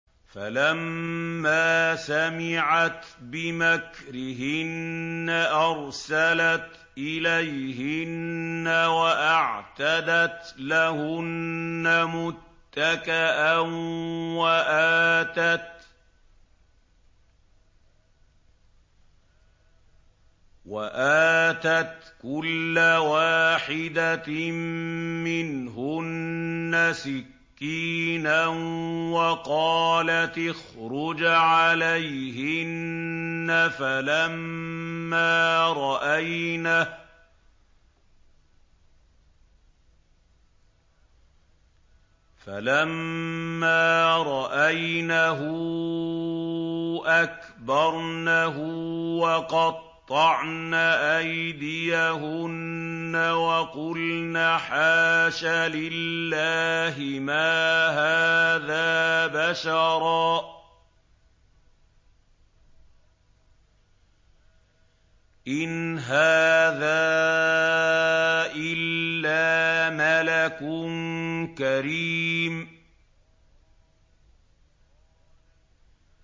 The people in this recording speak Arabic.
فَلَمَّا سَمِعَتْ بِمَكْرِهِنَّ أَرْسَلَتْ إِلَيْهِنَّ وَأَعْتَدَتْ لَهُنَّ مُتَّكَأً وَآتَتْ كُلَّ وَاحِدَةٍ مِّنْهُنَّ سِكِّينًا وَقَالَتِ اخْرُجْ عَلَيْهِنَّ ۖ فَلَمَّا رَأَيْنَهُ أَكْبَرْنَهُ وَقَطَّعْنَ أَيْدِيَهُنَّ وَقُلْنَ حَاشَ لِلَّهِ مَا هَٰذَا بَشَرًا إِنْ هَٰذَا إِلَّا مَلَكٌ كَرِيمٌ